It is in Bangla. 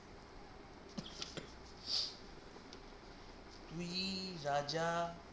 তুই যা যা